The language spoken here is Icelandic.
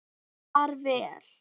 Far vel!